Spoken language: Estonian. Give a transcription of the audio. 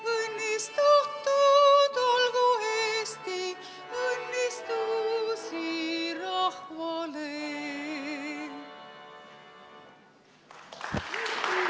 Õnnistatud olgu Eesti, õnnistusi rahvale!